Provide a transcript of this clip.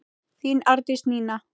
Þín Arndís Nína.